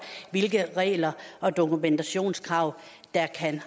hvilke regler og dokumentationskrav der kan